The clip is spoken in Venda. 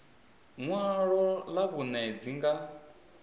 ṅwalo ḽa vhuṋe dzi nga